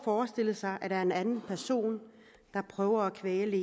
forestille sig at der er en anden person der prøver at kvæle